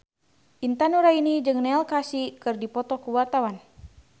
Intan Nuraini jeung Neil Casey keur dipoto ku wartawan